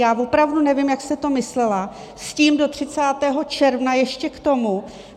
Já opravdu nevím, jak jste to myslela s tím, do 30. června ještě k tomu.